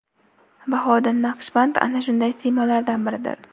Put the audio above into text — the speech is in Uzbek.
Bahouddin Naqshband ana shunday siymolardan biridir.